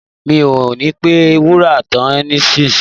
Mi ò ní pẹ́ múra tán nísìnyí